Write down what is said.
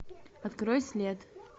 открой след